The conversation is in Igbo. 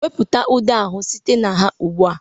Wepụta ude ahụ site na ha ugbu a!